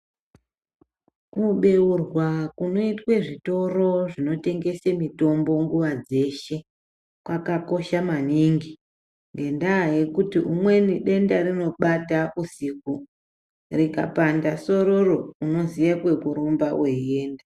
Kubeurwa kunoitwe zvitoro zvinotengese mitombo nguva dzeshe kwakakosha maningi ngendaa yekuti umweni denda rinobata usiku. Rikapanda sororo, unoziye kwekurumba weienda.